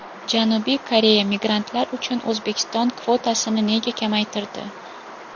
Janubiy Koreya migrantlar uchun O‘zbekiston kvotasini nega kamaytirdi?.